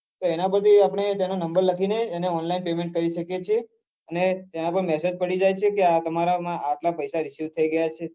એના પરથી આપણે તેનો number લખી ને તેને online payment કરી શકીએ છીએ અને તેના પર massage પડી જાય છે તમારા માં આટલા પૈસા receive થઇ ગયા છે